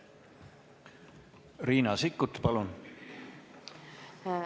Riina Sikkut, palun!